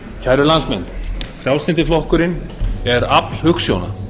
kæru landsmenn frjálslyndi flokkurinn er afl hugsjóna